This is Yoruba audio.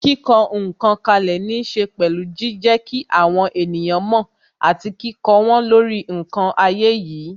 Kíkọ ǹkan kalẹ ní ṣe pẹ̀lú jijẹ kí àwọn ènìyàn mo àti kíkó wọn lórí ǹkan ayé yìí.